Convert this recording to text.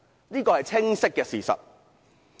這是很清晰的事實。